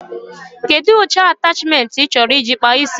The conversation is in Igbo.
Kedụ ụcha atachmentị ị chọrọ iji kpaa ísí?